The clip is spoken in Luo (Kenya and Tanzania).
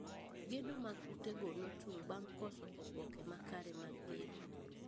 Gedo mag ute go nochung` bang` koso oboke makare mag gedo